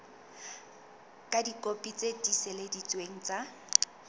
ka dikopi tse tiiseleditsweng tsa